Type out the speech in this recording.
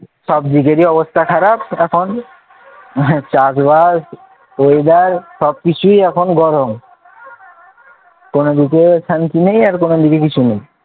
সব দিকেরই অবস্থা খারাপ চাঁদ ভাই হয়ে যায় সব কিছুই এখন গরম কোন দিকে শান্তি নেই আর কোন দিকে কিছু নেই,